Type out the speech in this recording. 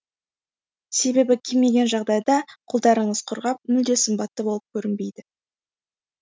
себебі кимеген жағдайда қолдарыңыз құрғап мүлде сымбатты болып көрінбейді